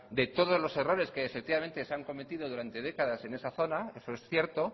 de todos los errores que efectivamente se han cometido durante décadas en esa zona eso es cierto